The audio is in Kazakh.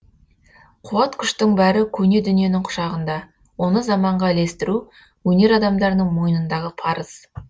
қуат күштің бәрі көне дүниенің құшағында оны заманға ілестіру өнер адамдарының мойнындағы парыз